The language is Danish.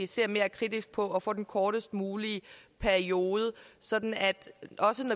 ser mere kritisk på at få den kortest mulige periode sådan at